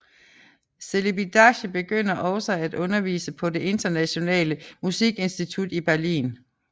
Celibidache begyndte også at undervise på Det Internationale Musikinstitut i Berlin